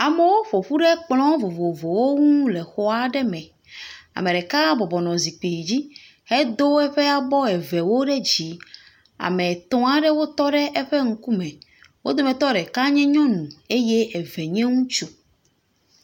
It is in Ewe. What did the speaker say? Amewo ƒo ƒu ɖe kplɔ vovovowo ŋu le xɔ aɖe me, ame ɖeka bɔbɔnɔ zikpui dzi hedo eƒe abɔ evewo ɖe dzi. Ame etɔ̃ aɖewo tɔ ɖe eƒe ŋkume, wo dometɔ ɖeka nye nyɔnu eye eve nye ŋutsu.